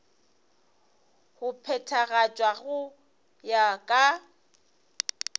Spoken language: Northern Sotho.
go phethagatšwa go ya ka